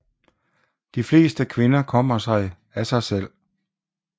De fleste kvinder kommer sig af sig selv